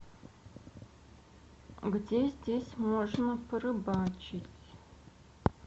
где здесь можно порыбачить